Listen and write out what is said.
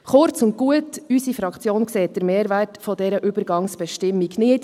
Kurz und gut: Unsere Fraktion sieht den Mehrwert dieser Übergangsbestimmung nicht.